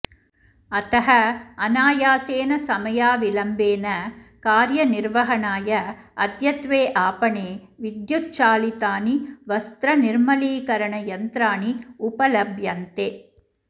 अतः अनायासेन समयाविलम्बेन कार्यनिर्वहणाय अद्यत्वे आपणे विद्युच्चालितानि वस्रनिर्मलीकरणयन्त्राणि उपलभ्यन्ते